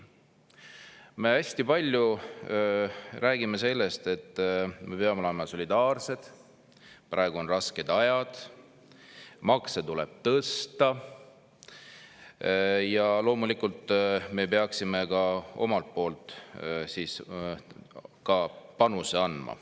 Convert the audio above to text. Me hästi palju räägime sellest, et me peame olema solidaarsed, praegu on rasked ajad, makse tuleb tõsta ja loomulikult peaksime ka omalt poolt panuse andma.